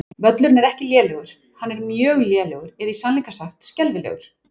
Völlurinn er ekki lélegur, hann er mjög lélegur eða í sannleika sagt skelfilegur.